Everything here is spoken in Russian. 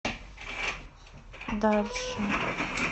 дальше